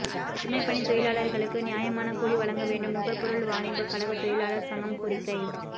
சுமைப்பணி தொழிலாளர்களுக்கு நியாயமான கூலி வழங்கவேண்டும் நுகர்பொருள் வாணிபக்கழக தொழிலாளர் சங்கம் கோரிக்கை